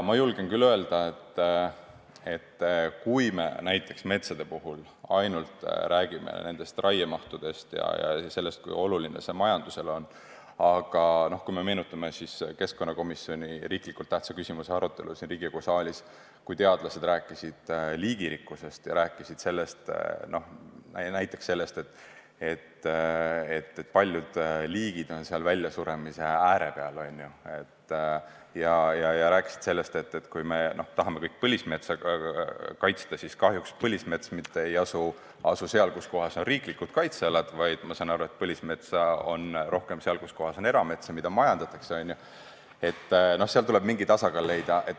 Ma julgen küll öelda, et kui me näiteks metsa puhul räägime ainult raiemahust ja sellest, kui oluline see majandusele on, siis võiks meenutada ka keskkonnakomisjoni algatatud olulise tähtsusega riikliku küsimuse arutelu siin saalis, kui teadlased rääkisid liigirikkusest ja sellest, et paljud liigid on väljasuremise ääre peal, sellest, et me tahame põlismetsa kaitsta, aga kahjuks põlismets ei asu mitte seal, kuskohas on riiklikud kaitsealad, vaid, ma sain aru, põlismetsa on rohkem seal, kus on eramets, mida majandatakse, ja seal tuleb mingi tasakaal leida.